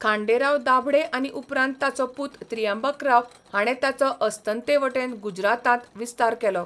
खांडेराव दाभडे आनी उपरांत ताचो पूत त्रियांबक्राव हाणें ताचो अस्तंतेवटेन गुजरातांत विस्तार केलो.